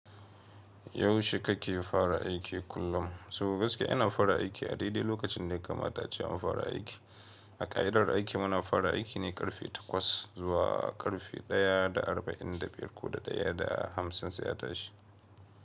Yaushe kake fara aiki kullum? So gaskiya ina fara aiki a daidai lokacin da yakama ta ace an fara aiki. A ƙa'idar aiki muna fara aiki ne karfe takwas zuwa karfe ɗaya da arba'in da biyar ko da ɗaya da hamsin sai a tashi.